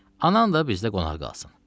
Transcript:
Anan da bizdə qonaq qalsın.